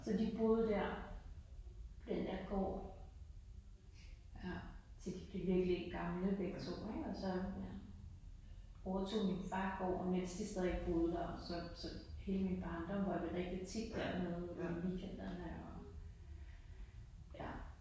Så de boede der på den der gård til de blev virkelig gamle begge to ik og så ja overtog min får gården mens de stadig boede der så så hele min barndom var vi rigtig tit dernede både i weekenderne og ja